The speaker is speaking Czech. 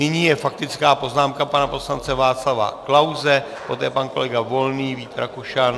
Nyní je faktická poznámka pana poslance Václava Klause, poté pan kolega Volný, Vít Rakušan...